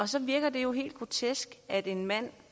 så virker det jo helt grotesk at en mand